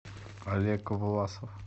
олег власов